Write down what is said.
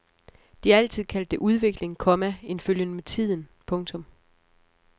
De har altid kaldt det udvikling, komma en følgen med tiden. punktum